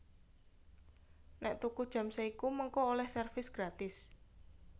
Nek tuku jam Seiko mengko oleh servis gratis